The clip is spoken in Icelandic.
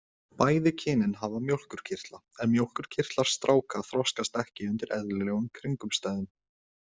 Bæði kynin hafa mjólkurkirtla en mjólkurkirtlar stráka þroskast ekki undir eðlilegum kringumstæðum.